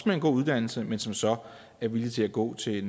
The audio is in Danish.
med en god uddannelse men som så er villige til at gå til